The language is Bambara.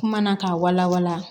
Kuma na k'a wala wala